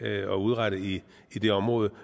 at udrette i det område på